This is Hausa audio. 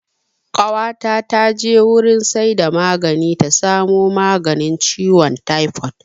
Ƙawata ta je wurin saida magani ta samo maganin ciwon taifod